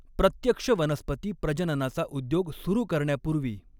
प्रत्यक्ष वनस्पती प्रजननाचा उद्योग सुरू करण्यापूर्वी